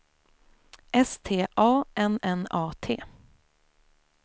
S T A N N A T